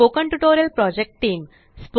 spoken tutorial project team